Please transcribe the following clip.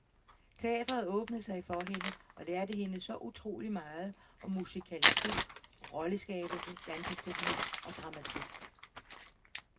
Teatret åbnede sig for hende, og lærte hende så utroligt meget om musikalitet, rolleskabelse, danseteknik og dramatik.